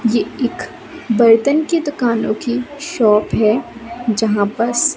ये एक बर्तन के दुकानों की शॉप हैं जहाँ पस--